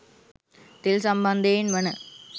තෙල් සම්බන්ධයෙන් වන